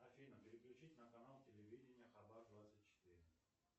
афина переключить на канал телевидения хабар двадцать четыре